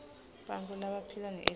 bantfu labaphila nehiv